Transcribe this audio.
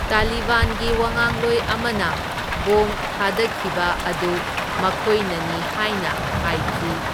ꯇꯥꯂꯤꯕꯥꯟꯒꯤ ꯋꯥꯉꯥꯡꯂꯣꯢ ꯑꯃꯅ ꯕꯣꯝ ꯊꯥꯗꯈꯤꯕ ꯑꯗꯨ ꯃꯈꯣꯢꯅꯅꯤ ꯍꯥꯢꯅ ꯍꯥꯢꯈꯤ꯫